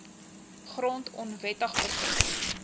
grond onwettig beset